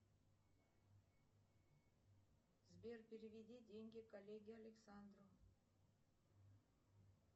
сбер переведи деньги коллеге александру